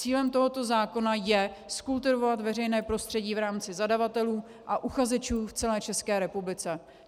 Cílem tohoto zákona je zkultivovat veřejné prostředí v rámci zadavatelů a uchazečů v celé České republice.